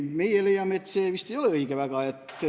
Meie leiame, et see ei ole vist päris õige.